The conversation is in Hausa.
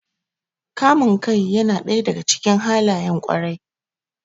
Kamun kai yana ɗaya daga cikin halayen ƙwarai.